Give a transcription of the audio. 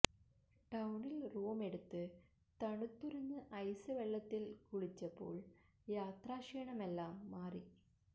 ടൌണില് റൂമെടുത്ത് തണുത്തുറഞ്ഞ ഐസ് വെള്ളത്തില് കുളിച്ചപ്പോള് യാത്രാക്ഷീണമെല്ലാ ം മാറി